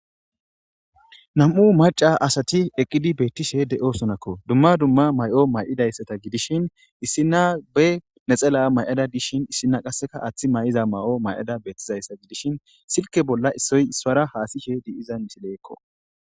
nam7u maca asati eqqidi beettishe de7osonakko dumma dumma may7o may7idayssata gidishin issinna be nexela may7ada dishin issina qasseka aaththi may7iza may7o may7ada beettizayssa gidishin silke bolla issoy ispara haasishe di7iza misileekko